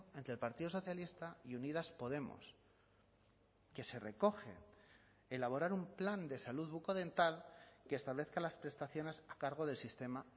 entre el partido socialista y unidas podemos que se recoge elaborar un plan de salud bucodental que establezca las prestaciones a cargo del sistema